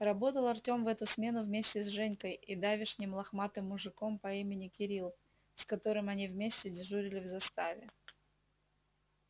работал артём в эту смену вместе с женькой и давешним лохматым мужиком по имени кирилл с которым они вместе дежурили в заставе